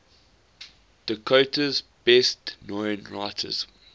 dakota's best known writers